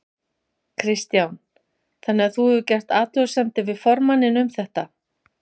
Kristján: Þannig að þú hefur gert athugasemdir við formanninn um þetta?